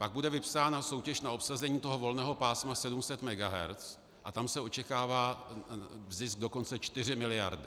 Pak bude vypsána soutěž na obsazení toho volného pásma 700 MHz a tam se očekává zisk dokonce 4 miliardy.